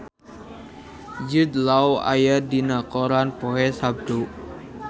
Jude Law aya dina koran poe Saptu